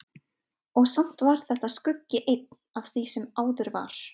Og samt var þetta skuggi einn af því sem áður var.